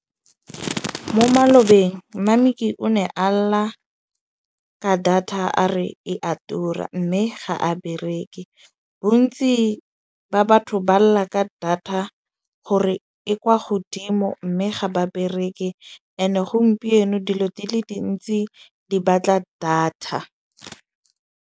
Mo malobeng Mameki o ne a lla ka data a re e a tura. Mme ga a bereke. Bontsi ba batho ba lla ka data gore e kwa godimo. Mme ga ba bereke ene gompieno dilo di le dintsi di batla data.